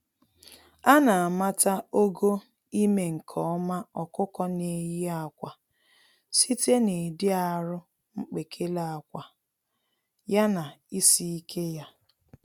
Ana amata ogo ime-nke-ọma ọkụkọ n'eyi ákwà site na ịdị arụ mkpekele ákwà, ya na isi-ike ya.